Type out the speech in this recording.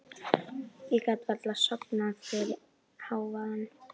Ég gat varla sofnað fyrir hávaða.